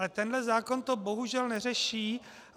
Ale tenhle zákon to bohužel neřeší.